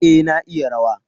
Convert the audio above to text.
A, na iya rawa.